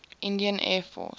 indian air force